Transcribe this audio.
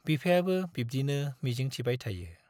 बिफायाबो बिब्दिनो मिजिंथिबाय थायो।